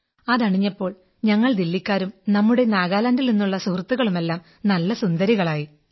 അതണിഞ്ഞാൽ ഞങ്ങൾ ദില്ലിക്കാരും നമ്മുടെ നാഗാലാൻഡിൽ നിന്നുള്ള സുഹൃത്തുക്കളുമെമെല്ലാം നല്ല സുന്ദരികളായിരുന്നു